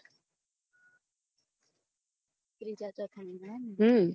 થીજ ચોથા મહિના માં ને હમ